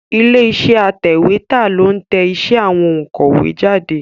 Ilé iṣẹ́ atẹ̀wétà ló ń tẹ iṣẹ́ àwọn òǹkọ̀wé jáde.